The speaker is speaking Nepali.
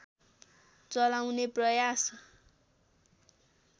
चलाउने प्रयास